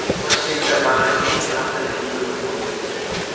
Toshkentda bag‘rikenglik haftaligi bo‘lib o‘tmoqda.